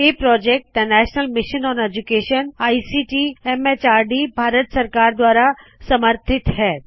ਇਹ project the national mission on education ICT MHRD Bharat ਸਰਕਾਰ ਦਵਾਰਾ ਸਮਰਥਿਤ ਹੈ